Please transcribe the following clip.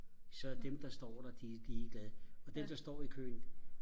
så dem der står der de er ligeglade og dem der står i køen